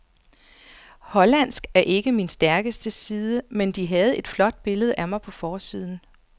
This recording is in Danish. Hollandsk er ikke min stærkeste side, men de havde et flot billede af mig på forsiden.